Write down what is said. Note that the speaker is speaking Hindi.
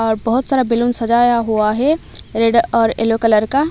और बहुत सारा बैलून सजाया हुआ है रेड और येलो कलर का।